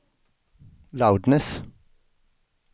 loudness